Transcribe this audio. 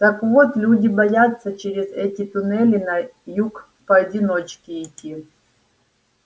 так вот люди боятся через эти туннели на юг поодиночке идти